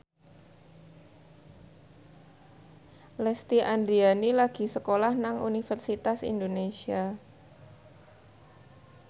Lesti Andryani lagi sekolah nang Universitas Indonesia